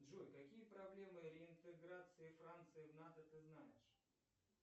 джой какие проблемы реинтеграции франции в нато ты знаешь